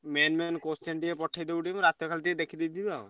Main main question ଟିକେ ପଠେଇଦବୁ ଟିକେ ମୁଁ ରାତିରେ ଟିକେ ଖାଲି ଦେଖିଦେଇ ଥିବି ଆଉ।